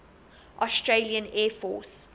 australian air force